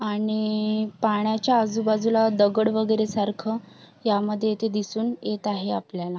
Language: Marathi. आणि पाण्याच्या आजूबाजूला दगड वगैरे सारख यामध्ये येथे दिसून येत आहे आपल्याला.